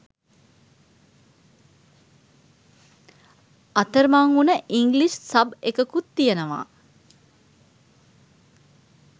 අතරමං උන English sub එකකුත් තියෙනවා.